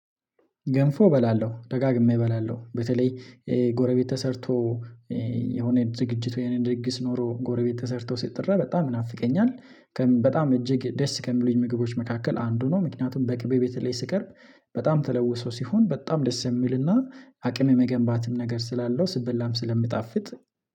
ገንፎ እበላለሁ ደጋግሜ እበላለሁ በተለይ ጎረቤት ተሰርቶ የሆነ ዝግጅት ወይም ድጊስ ኖሮ ጎረቤት ተሰርቶ ስጥራ በጣም ናፍቀኛል፤። በጣም እጅግ ደስ ከሚሉኝ ምግቦች መካከል አንዱ ነው። ምክንያቱም በቅቤ ቤት ላይ ስቀርብ በጣም ተለውሶ ሲሆን በጣም ደስ የሚልና አቅም የመገንባትም ነገር ስላለው ስበላም ስለምጣፍጥ